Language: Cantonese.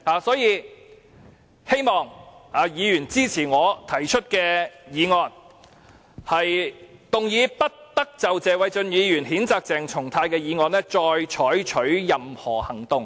所以，希望議員支持我提出的議案，"不得就謝偉俊議員動議的譴責議案再採取任何行動"。